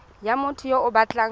ya motho yo o batlang